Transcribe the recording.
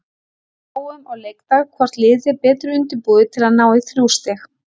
Við sjáum á leikdag hvort liðið er betur undirbúið til að ná í þrjú stig.